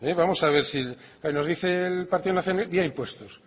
vamos a ver si nos dice el partido nacionalista vía impuestos